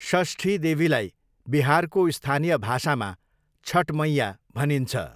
षष्ठी देवीलाई बिहारको स्थानीय भाषामा छठमैया भनिन्छ।